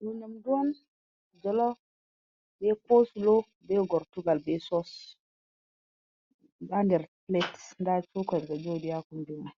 Ɗo nyamdu on be kosulo bai gortugal b sos andir plates da cokar ga jodi yakumbina